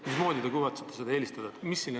Mismoodi te kavatsete Eesti tootjaid eelistada?